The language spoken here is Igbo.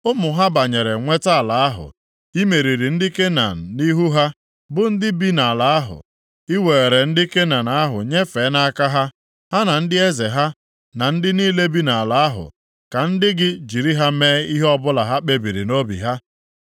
Ụmụ ha banyere nweta ala ahụ. I meriri ndị Kenan nʼihu ha, bụ ndị bi nʼala ahụ. I weere ndị Kenan ahụ nyefee nʼaka ha, ha na ndị eze ha, na ndị niile bi nʼala ahụ ka ndị gị jiri ha mee ihe ọbụla ha kpebiri nʼobi ha.